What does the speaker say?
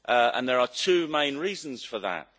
And there are two main reasons for that.